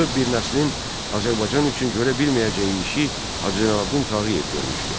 Bütöv bir nəslin Azərbaycan üçün görə bilməyəcəyi işi Hacı Zeynalabdin Tağıyev görmüşdü.